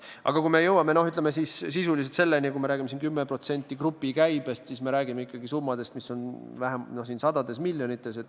Aga kui me jõuame sisuliselt 10%-ni grupi käibest, siis me räägime ikkagi summadest, mis on sadades miljonites.